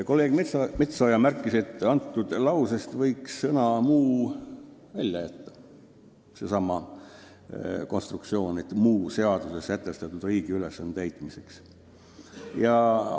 Kolleeg Metsoja märkis, et sellestsamast konstruktsioonist "muu seaduses sätestatud riigi ülesande täitmiseks" võiks sõna "muu" välja jätta.